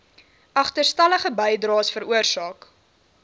agterstallige bydraes veroorsaak